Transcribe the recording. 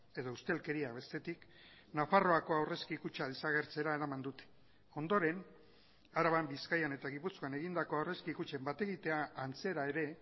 edo ustelkeria bestetik nafarroako aurrezki kutxa desagertzera eraman dute ondoren araban bizkaian eta gipuzkoan egindako aurrezki kutxen bat egitea antzera ere